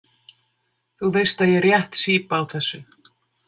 Þú veist að ég rétt sýp á þessu.